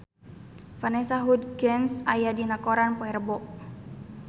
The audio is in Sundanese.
Vanessa Hudgens aya dina koran poe Rebo